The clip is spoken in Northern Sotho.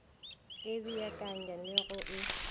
e beakanya le go e